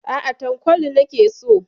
Aa, Tankwal nake so.